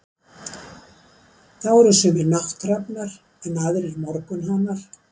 Þá eru sumir nátthrafnar, en aðrir morgunhanar.